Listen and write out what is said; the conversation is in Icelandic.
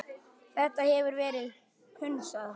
Þetta hefur verið hunsað.